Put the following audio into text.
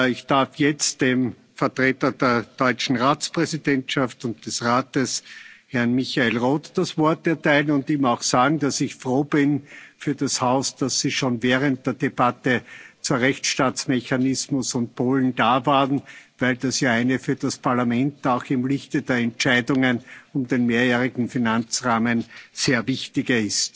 Ich darf jetzt dem Vertreter der deutschen Ratspräsidentschaft und des Rates, Herrn Michael Roth, das Wort erteilen und ihm auch sagen, dass ich für das Haus froh bin, dass Sie schon während der Aussprache zu Rechtsstaatsmechanismus und Polen da waren, weil das ja eine für das Parlament auch im Lichte der Entscheidungen über den Mehrjährigen Finanzrahmen sehr wichtige